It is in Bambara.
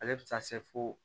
Ale bɛ taa se fo